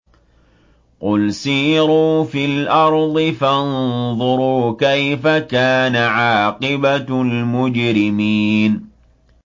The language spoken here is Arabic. قُلْ سِيرُوا فِي الْأَرْضِ فَانظُرُوا كَيْفَ كَانَ عَاقِبَةُ الْمُجْرِمِينَ